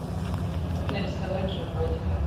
как нарисовать животных